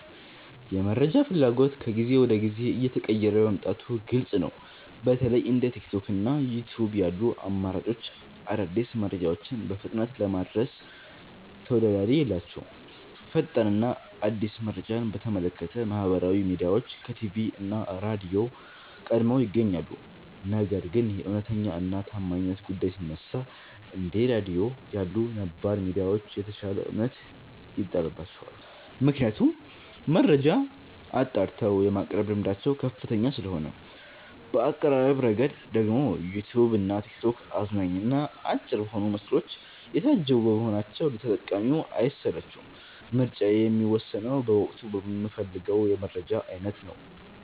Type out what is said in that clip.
የመረጃ ፍላጎት ከጊዜ ወደ ጊዜ እየተቀየረ መምጣቱ ግልጽ ነው። በተለይ እንደ ቲክቶክ እና ዩትዩብ ያሉ አማራጮች አዳዲስ መረጃዎችን በፍጥነት ለማድረስ ተወዳዳሪ የላቸውም። ፈጣን እና አዲስ መረጃን በተመለከተ ማህበራዊ ሚዲያዎች ከቲቪ እና ራድዮ ቀድመው ይገኛሉ። ነገር ግን የእውነተኛነት እና የታማኝነት ጉዳይ ሲነሳ፣ እንደ ራድዮ ያሉ ነባር ሚዲያዎች የተሻለ እምነት ይጣልባቸዋል። ምክንያቱም መረጃን አጣርተው የማቅረብ ልምዳቸው ከፍተኛ ስለሆነ ነው። በአቀራረብ ረገድ ደግሞ ዩትዩብ እና ቲክቶክ አዝናኝ እና አጭር በሆኑ ምስሎች የታጀቡ በመሆናቸው ለተጠቃሚው አይሰለቹም። ምርጫዬ የሚወሰነው በወቅቱ በምፈልገው የመረጃ አይነት ነው።